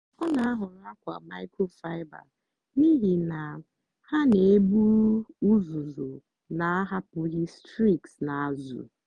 ọ na-ahọrọ akwa microfiber n'ihi na ha na-eburu uzuzu na-ahapụghị streaks n'azụ.